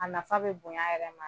A nafa bɛ bonya a yɛrɛ ma.